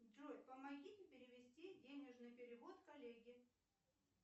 джой помогите перевести денежный перевод коллеге